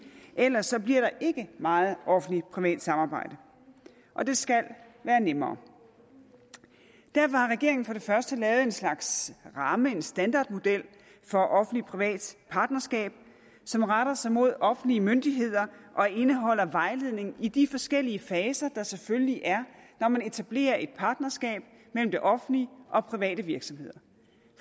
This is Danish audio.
ellers bliver der ikke meget offentlig privat samarbejde og det skal være nemmere derfor har regeringen for det første lavet en slags ramme en standardmodel for offentlig privat partnerskab som retter sig mod offentlige myndigheder og indeholder vejledning i de forskellige faser der selvfølgelig er når man etablerer et partnerskab mellem det offentlige og private virksomheder